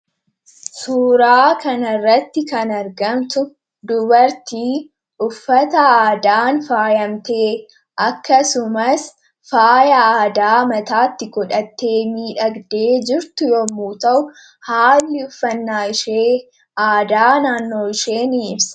suuraa kana irratti kan argamtu dubartii uffata aadaan faayamtee akkasumas faaya aadaa mataatti godhattee miidhagdee jirtu yommuu ta'u haalli uffannaa ishee aadaa naannoo ishee ni ibsa.